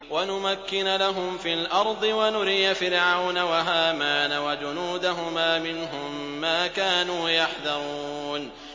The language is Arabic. وَنُمَكِّنَ لَهُمْ فِي الْأَرْضِ وَنُرِيَ فِرْعَوْنَ وَهَامَانَ وَجُنُودَهُمَا مِنْهُم مَّا كَانُوا يَحْذَرُونَ